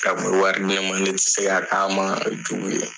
A kun bɛ wari di ne ma ne ti se ka k'a ma jugu ye.